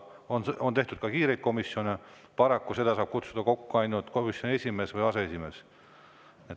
On ka kiirelt tehtud komisjoni, aga paraku saab seda kokku kutsuda ainult komisjoni esimees või aseesimees.